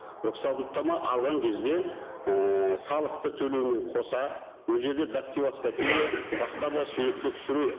рұқсаттама алған кезде ііі салықты төлеумен қоса ол жерде дактилоскопия басқа да суретке түсіру